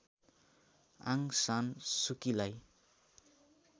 Aung San सुकीलाई